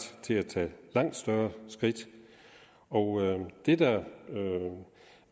til at tage langt større skridt og det der